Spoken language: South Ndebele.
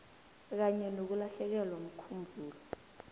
kanye nokulahlekelwa mkhumbulo